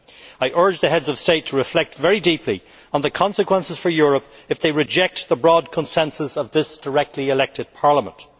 I urge the Heads of State to reflect very deeply on the consequences for Europe if they reject the broad consensus of this directly elected Parliament.